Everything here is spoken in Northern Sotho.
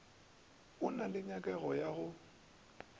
go na le nyakego ya